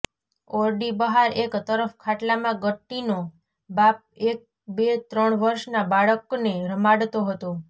ઓરડી બહાર એક તરફ ખાટલામાં ગટ્ટીનો બાપ એક બે ત્રણ વર્ષના બાળકને રમાડતો હતો